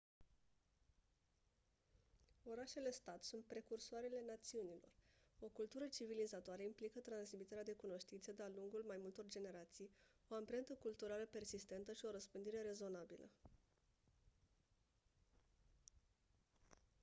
orașele stat sunt precursoarele națiunilor o cultură civilizatoare implică transmiterea de cunoștințe de-a lungul mai multor generații o amprentă culturală persistentă și o răspândire rezonabilă